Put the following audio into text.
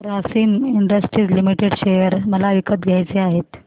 Grasim industries limited share मला विकत घ्यायचे आहेत